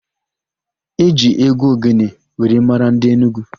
E ji égwú ogene were mara ndị Enugwu.